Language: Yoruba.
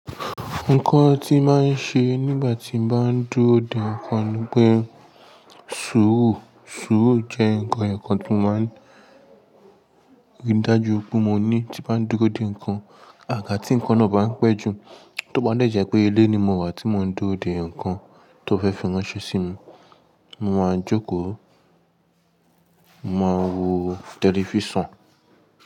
Nǹkan tí màá nṣe nígbà tí mbàá dúró dè nǹkan ni pé sùúrù, sùúrù jẹ́ nǹkan ẹyọ̀kan tí màá rí dájú pé mó ní tí bá dúró dè nǹkan. Àgà tí nǹkan náà bá npẹ́ jù, tó bá lè jẹ́ pé ilé ni mo wà tí mó ń dúró dè nǹkan tó fẹ́ fi ránṣẹ́ sí mi, mo máa jókòó, mo máa wo tẹlifíṣàn.